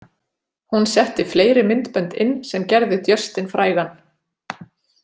Hún setti fleiri myndbönd inn sem gerðu Justin frægan.